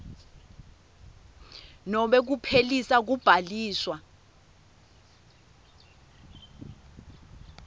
nobe kuphelisa kubhaliswa